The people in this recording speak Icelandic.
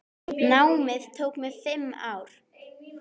Námið tók mig fimm ár.